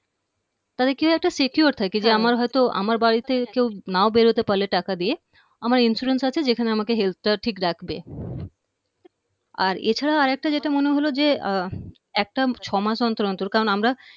তাহলে কি একটা secure থাকে হম যে আমার হয়তো আমার বাড়িতে কেউ না বের হতে পারলে টাকা দিয়ে আমার insurance আছে যেখানে আমাকে health টা ঠিক রাখবে আর এছাড়া আরেকটা যেটা মনে হলো যে একটা ছয় মাস অন্তর অন্তর কারণ আমরা